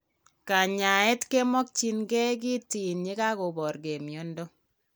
Kanyaeet kemokyinkee kiteen yekakoborkee miondo